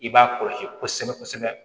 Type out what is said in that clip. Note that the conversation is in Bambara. I b'a kɔlɔsi kosɛbɛ kosɛbɛ